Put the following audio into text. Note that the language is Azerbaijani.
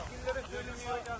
Keçkilərə deyilir.